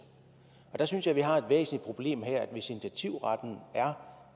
og der synes jeg vi har et væsentligt problem hvis initiativretten er